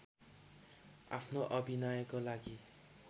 आफ्नो अभिनयको लागि